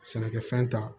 Sɛnɛkɛfɛn ta